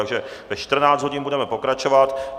Takže ve 14 hodin budeme pokračovat.